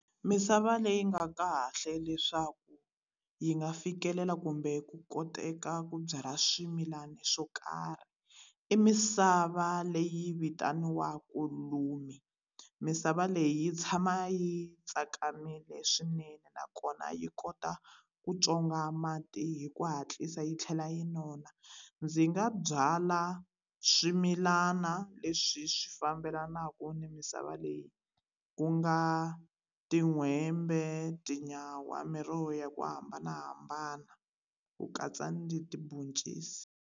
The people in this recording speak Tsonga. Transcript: Misava leyi nga kahle leswaku yi nga fikelela kumbe ku koteka ku byala swimilana swo karhi i misava leyi vitaniwaka Lumi misava leyi yi tshama yi tsakamile swinene nakona yi kota ku tswonga mati hi ku hatlisa yi tlhela yi nona ndzi nga byala swimilana leswi swi fambelanaka ni misava leyi ku nga tin'hwembe tinyawa miroho ya ku hambanahambana ku katsa ni tibhoncisi.